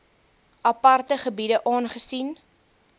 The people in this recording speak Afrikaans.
aparte gebiede aangesien